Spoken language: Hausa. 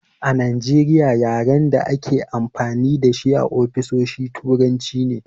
A Najeriya yaren a dake amfani dashi a ofisoshi turanci ne